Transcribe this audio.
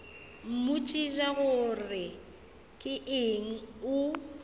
mmotšiša gore ke eng o